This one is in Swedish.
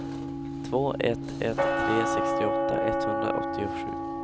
två ett ett tre sextioåtta etthundraåttiosju